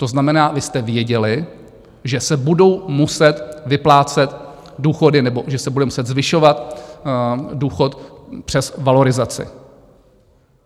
To znamená, vy jste věděli, že se budou muset vyplácet důchody nebo že se bude muset zvyšovat důchod přes valorizaci.